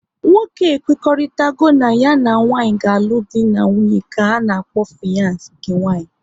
Nwoke e kwekoritarago na ya na nwanyị ga-alụ dị na nwunye ka ana-akpọ fiyans nke nwanyị